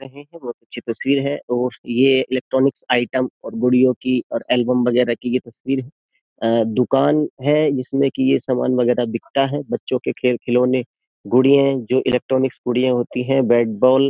लगता है की बहुत अच्छी तस्वीर है और ये इलेक्ट्रॉनिक्स आइटम और गुड़ियों की और एल्बम वगैरह की ये तस्वीर है दुकान है जिसमें कि ये सामान वगैरह बिकता है बच्चों के खेल खिलौने गुड़ियां जो इलेक्ट्रॉनिक्स गुड़िया होती है बैटबॉल ।